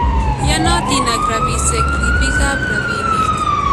Yanootin ak rabiisyek ribiikab rabiniik